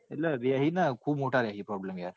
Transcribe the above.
એટલે રેસે નાઈ ખુબ મોટા રેસે problem યાર.